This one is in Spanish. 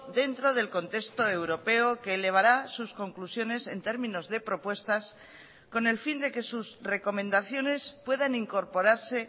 dentro del contexto europeo que elevará sus conclusiones en términos de propuestas con el fin de que sus recomendaciones puedan incorporarse